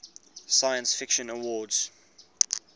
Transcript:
science fiction awards